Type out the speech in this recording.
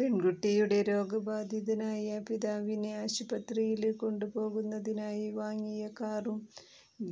പെണ്കുട്ടിയുടെ രോഗബാധിതനായ പിതാവിനെ ആശുപത്രിയില് കൊണ്ടുപോകുന്നതിനായി വാങ്ങിയ കാറും